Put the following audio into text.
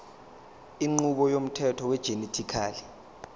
inqubo yomthetho wegenetically